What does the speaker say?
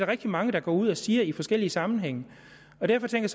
rigtig mange der går ud og siger i forskellige sammenhænge derfor tænker